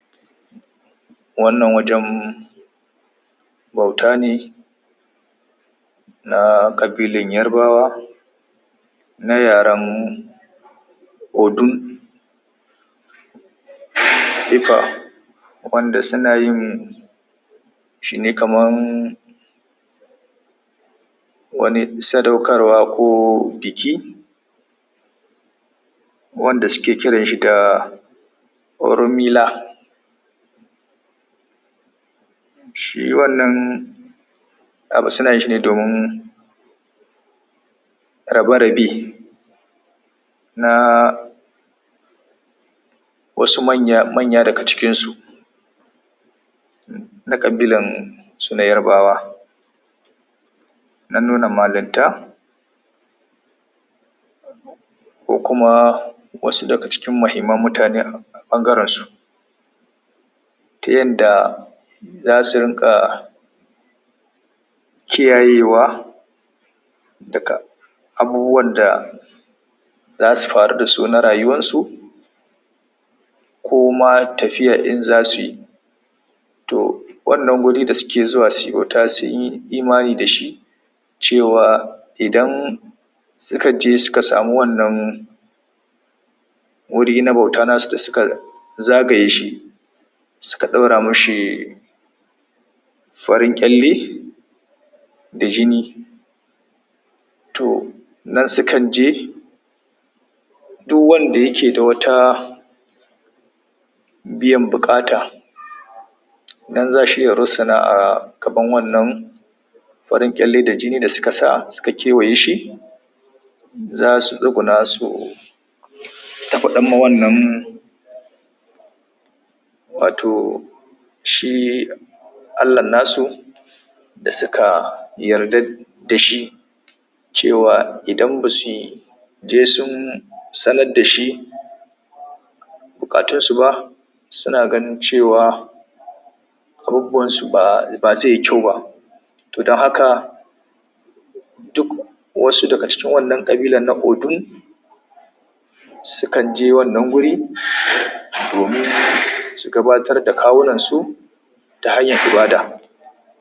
wannan wajen bauta ne na ƙabilan yarbawa na yaran odun wanda su nayin shine kaman wani sadaukarwa ko biki wanda suke kiranshi da Oromila shine wannan abu sunayin shi ne domin rabe-rabe na wasu manya[um] daga cikinsu na ƙabilan su na yarbawa na nuna malinta ko kuma wasu daga cikin muhimman mutane ɓangaren su ta yanda zasu rinƙa kiyayewa duka. Abubuwab da za su farudasu na rayuwarsu koma tafiyar in zasu yi to wannan guri da suke zuwa imani da shi cewa idan su ka je suka sami wannan wurin na bauta nasu da suka zagaye shi suka ɗaura mishi farin ƙyalle da jjini to nan su kan je duk wanda yake da wata biyan buƙata nan za shi ya rusuna a gaban wannan farin ƙyalle da jini da suka sa ka kewaye shi zasu duƙuna su ta faɗan ma wannan wato shi allahn nasu da suka yarda dashi cewa idan basuyi je sun sanar da shi buƙatun su ba su na ganin cewa um ba zai kyau ba to don haka duk wasu daga cikin wannan ƙabilan na Odun su kanje wannan wuri, domin su gabatar da kawunan su ta hanyar ibada.